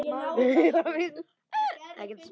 Konráð og Anna.